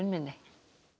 minni